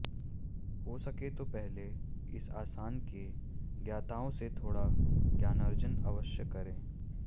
हो सके तो पहले इस आसन के ज्ञाताओं से थोड़ा ज्ञानार्जन अवश्य करें